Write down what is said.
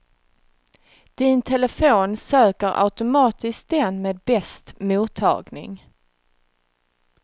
Din telefon söker automatiskt den med bäst mottagning.